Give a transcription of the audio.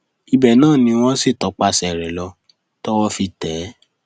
ibẹ náà ni wọn sì tọpasẹ rẹ lọ tọwọ fi tẹ ẹ